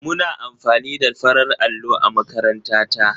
Muna amfani da farar allo a makaranta ta.